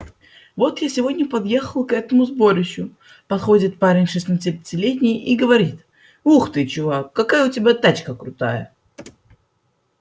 вот я сегодня подъехал к этому сборищу подходит парень шестнадцатилетний и говорит ух ты чувак какая у тебя тачка крутая